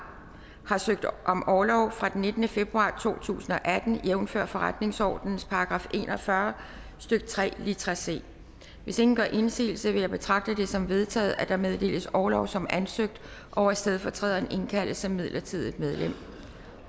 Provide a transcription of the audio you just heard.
har søgt om orlov fra den nittende februar to tusind og atten jævnfør forretningsordenens § en og fyrre stykke tre litra c hvis ingen gør indsigelse vil jeg betragte det som vedtaget at der meddeles orlov som ansøgt og at stedfortræderen indkaldes som midlertidigt medlem